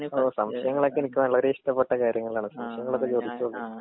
ഓ സംശയങ്ങളൊക്കെ എനിക്ക് വളരേ ഇഷ്ടപ്പെട്ട കാര്യങ്ങളാണ് സംശയങ്ങളൊക്കെ ചോദിച്ചോണ്ട്.